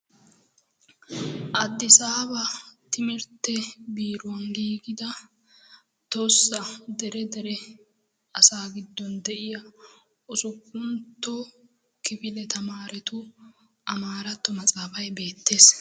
Adisaaba timirtte beeruwan gigida tohosa dere dere asa gidon diya usuuppuntto kifile tamarettu amarato maxaafay beetees.